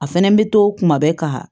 A fɛnɛ bɛ to kuma bɛɛ ka